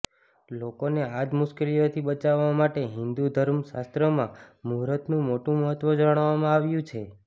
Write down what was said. લોકોને આજ મુશ્કેલીઓથી બચાવવા માટે હિંદુ ધર્મ શાસ્ત્રમાં મુહૂર્તનું મોટુ મહત્વ જણાવવામાં આવ્યું છે